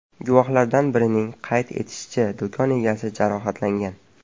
Guvohlardan birining qayd etishicha, do‘kon egasi jarohatlangan.